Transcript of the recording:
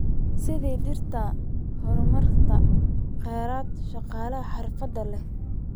Sidaa darteed, horumarinta kheyraad shaqaale xirfad leh.